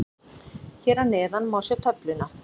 Hér að neðan má sjá töfluna.